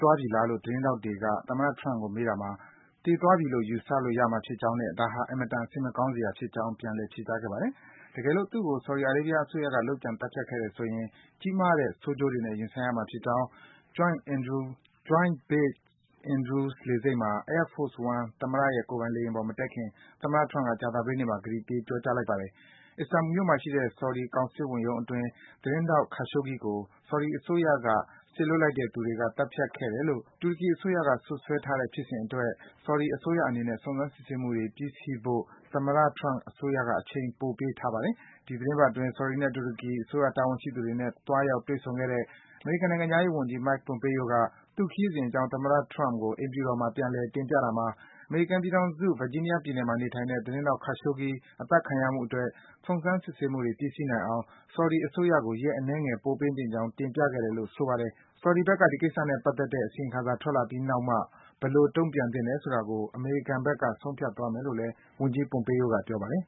သွားပြီလားလို့ သတင်းထောက်တွေက သမ္မတ Donald Trump ကို မေးတာမှာ - သေသွားပြီလို့ ယူဆရမှာဖြစ်ကြောင်းနဲ့ ဒါဟာ အင်မတန် စိတ်မကောင်းစရာကောင်းကြောင်း ပြန်လည် ဖြေကြားခဲ့ပါတယ်။ တကယ်လို့ သူ့ကို ဆော်ဒီအာရေးဗီးယားအစိုးရက လုပ်ကြံ သတ်ဖြတ်ခဲ့တယ်ဆိုရင် ကြီးမားတဲ့ ဆိုးကျိုးတွေနဲ့ ရင်ဆိုင်ရမှာဖြစ်ကြောင်း Joint Base Andrews လေဆိပ်မှာ Air Force One သမ္မတရဲ့ ကိုယ်ပိုင် လေယာဉ်ပေါ်မတက်ခင် သမ္မတ Trump က ကြာသပတေးနေ့မှာ ကတိပေး ပြောကြားလိုက်ပါတယ်။ Istanbul မြို့မှာရှိတဲ့ ဆော်ဒီ ကောင်စစ်ဝန်ရုံးအတွင်း သတင်းထောက် Khashoggi ကို ဆော်ဒီအစိုးရက စေလွတ်လိုက်တဲ့သူတွေက သတ်ဖြတ်ခဲ့တယ်လို့ တူရကီအစိုးရက စွပ်စွဲထားတဲ့ ဖြစ်စဉ်အတွက် ဆော်ဒီ အစိုးရအနေနဲ့ စုံစမ်း စစ်ဆေးမှုတွေ ပြီးစီးဖို့အတွက် သမ္မတ Trump အစိုးရက အချိန် ပိုပေးထားပါတယ်။ အခုသီပတ်အတွင်း ဆော်ဒီနဲ့ တူရကီ အစိုးရတာဝန်ရှိသူတွေနဲ့ သွားရောက် တွေ့ဆုံခဲ့တဲ့ အမေရိကန်နိုင်ငံခြားရေးဝန်ကြီး Mike Pompeo က သူ့ခရီးစဉ်အကြောင်း သမ္မတ Trump ကို အိမ်ဖြူတော်မှာ ပြန်လည် တင်ပြတာမှာ - အမေရိကန်ပြည်ထောင်စု၊ Virginia ပြည်နယ်မှာ နေထိုင်တဲ့ သတင်းထောက် Khashoggi အသတ်ခံရမှုအတွက် စုံစမ်း စစ်ဆေးမှုတွေ ပြီးစီးနိုင်အောင် ဆော်ဒီအစိုးရကို ရက်အနည်းငယ် ပိုပေးသင့်ကြောင်း တင်ပြခဲ့တယ်လို့ ဆိုပါတယ်။ ဆော်ဒီဘက်က ဒီကိစ္စနဲ့ပတ်သက်တဲ့ အစီရင်ခံစာ ထွက်လာပြီးနောက်မှ ဘယ်လို တုန့်ပြန်သင့်တယ်ဆိုတာကို အမေရိကန်ဘက်က ဆုံးဖြတ်သွားမယ်လို့ ဝန်ကြီး Pompeo က ပြောပါတယ်